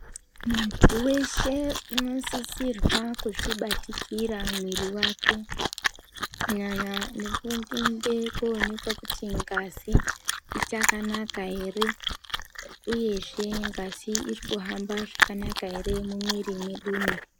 Muntu weshe unosisirwa kuzvibatikira mwiri wake kunyanya nekuende koonekwa kuti ngazi ichakanaka ere uyezve ngazi iri kuhamba zvakanaka ere mumwiri mwedumwo.